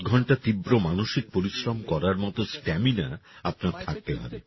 ছয়সাত ঘন্টা তীব্র মানসিক পরিশ্রম করার মত স্ট্যামিনা আপনার থাকতে হবে